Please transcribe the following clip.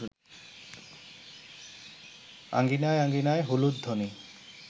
আঙ্গিনায় আঙ্গিনায় হুলুধ্বনি